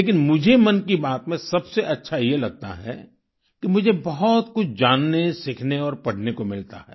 लेकिन मुझे मन की बात में सबसे अच्छा ये लगता है कि मुझे बहुत कुछ जाननेसीखने और पढ़ने को मिलता है